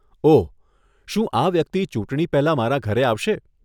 ઓહ, શું આ વ્યક્તિ ચૂંટણી પહેલા મારા ઘરે આવશે?